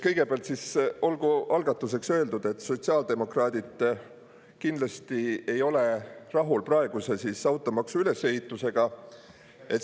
Kõigepealt, olgu algatuseks öeldud, et sotsiaaldemokraadid kindlasti ei ole rahul praeguse automaksu ülesehitusega.